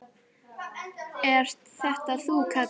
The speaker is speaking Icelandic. Ert þetta þú, Kalli minn!